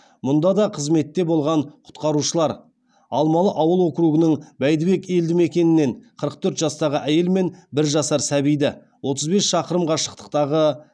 мұнда да қызметте болған құтқарушылар алмалы ауыл округінің бәйдібек елдімекенінен қырық төрт жастағы әйел мен бір жасар сәбиді отыз бес шақырым қашықтықтағы